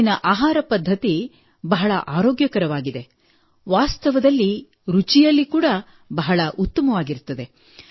ಅಲ್ಲಿನ ಆಹಾರ ಪದ್ಧತಿ ಬಹಳವೇ ಆರೋಗ್ಯಕರವಾಗಿದೆ ವಾಸ್ತವದಲ್ಲಿ ರುಚಿಯಲ್ಲಿ ಕೂಡಾ ಬಹಳ ಉತ್ತಮವಾಗಿರುತ್ತದೆ